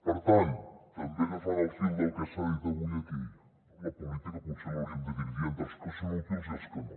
per tant també agafant el fil del que s’ha dit avui aquí la política potser l’hauríem de dividir entre els que són útils i els que no